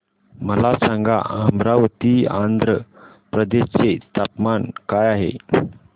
मला सांगा अमरावती आंध्र प्रदेश चे तापमान काय आहे